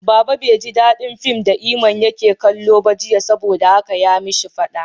Baba bai ji dadin fim da Iman yake kallo ba jiya, saboda haka ya yi ma shi fada.